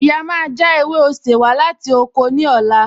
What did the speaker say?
Ìyá máa já ewé osè wá láti oko ní ọ̀la